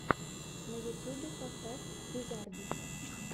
на ютюбе поставь визардис